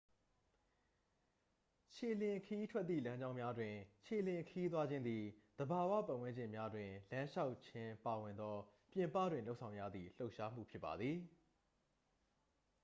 ခြေလျင်ခရီးထွက်သည့် လမ်းကြောင်းများတွင် ခြေလျင်ခရီးသွားခြင်းသည် သဘာဝ ပတ်ဝန်းကျင်များတွင် လမ်းလျှောက်ခြင်းပါဝင်သော ပြင်ပတွင်လုပ်ဆောင်ရသည့် လှုပ်ရှားမှုဖြစ်ပါသည်